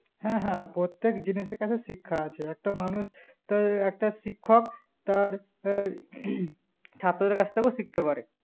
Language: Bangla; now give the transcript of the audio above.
হ্যাঁ হ্যাঁ প্রত্যেক জিনিসের কাছে শিক্ষা আছে একটা মানুষ তই একটা শিক্ষক তার হই ছাত্রের কাছথেকে শিখতে পারে